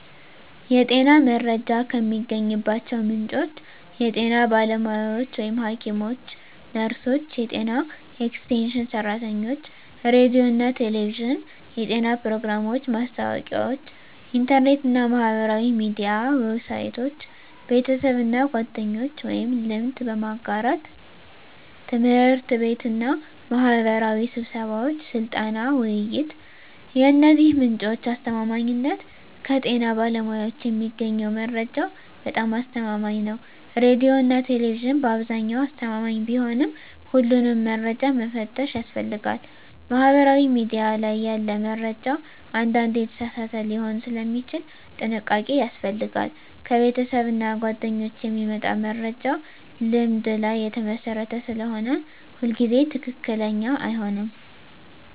የጤና መረጃ የሚገኝባቸው ምንጮች የጤና ባለሙያዎች (ሐኪሞች፣ ነርሶች፣ የጤና ኤክስቴንሽን ሰራተኞች) ሬዲዮና ቴሌቪዥን (የጤና ፕሮግራሞች፣ ማስታወቂያዎች) ኢንተርኔት እና ማህበራዊ ሚዲያ ዌብሳይቶች) ቤተሰብና ጓደኞች (ልምድ በመጋራት) ት/ቤትና ማህበራዊ ስብሰባዎች (ስልጠና፣ ውይይት) የእነዚህ ምንጮች አስተማማኝነት ከጤና ባለሙያዎች የሚገኘው መረጃ በጣም አስተማማኝ ነው ሬዲዮና ቴሌቪዥን በአብዛኛው አስተማማኝ ቢሆንም ሁሉንም መረጃ መፈተሽ ያስፈልጋል ማህበራዊ ሚዲያ ላይ ያለ መረጃ አንዳንዴ የተሳሳተ ሊሆን ስለሚችል ጥንቃቄ ያስፈልጋል ከቤተሰብና ጓደኞች የሚመጣ መረጃ ልምድ ላይ የተመሰረተ ስለሆነ ሁሉ ጊዜ ትክክለኛ አይሆንም